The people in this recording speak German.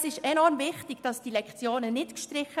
Es ist enorm wichtig, diese Lektionen nicht zu streichen.